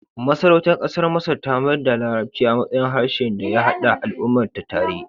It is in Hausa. Masarautar ƙasar Masar ta mayar da larabci a matsayin harshen da ya haɗa al'ummarta tare.